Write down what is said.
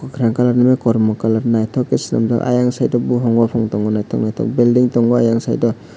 kakrang kalarorby kormo kalaror nythok se sanamjaak ah eiang site o bufang tong nythok nythok building tongo eiang site o.